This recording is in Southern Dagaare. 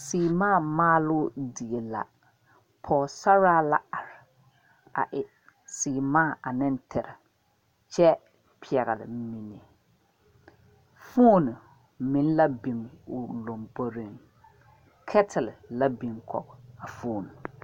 Seemaa maaloo die la ka pɔgesaraa la are a e seemaa ane tere kyɛ pɛgle mine foone meŋ la biŋ o lomboriŋ kɛtili meŋ la a biŋ kɔge a foone.